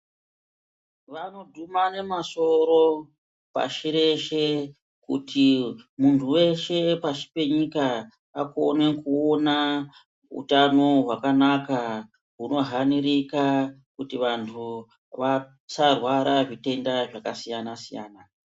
Vanodhumane masoro pashi reshe kuti munhu weshe pashi penyika akone kuona utano hwakanaka hunohanirika kuti vantu vasarwara kuzvitenda zvakasiyana-siyana.